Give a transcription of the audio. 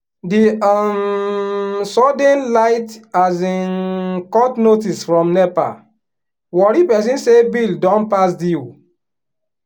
the um sudden light um cut notice from nepa worry person say bill don pass due.